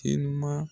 Telima